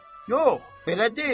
Yox, belə deyil.